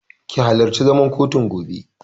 Ki halarci zaman kotun gobe!